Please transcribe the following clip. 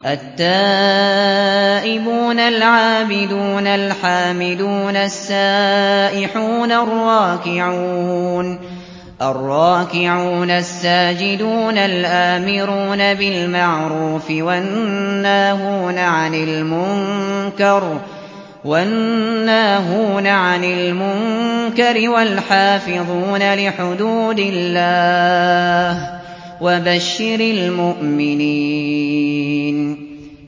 التَّائِبُونَ الْعَابِدُونَ الْحَامِدُونَ السَّائِحُونَ الرَّاكِعُونَ السَّاجِدُونَ الْآمِرُونَ بِالْمَعْرُوفِ وَالنَّاهُونَ عَنِ الْمُنكَرِ وَالْحَافِظُونَ لِحُدُودِ اللَّهِ ۗ وَبَشِّرِ الْمُؤْمِنِينَ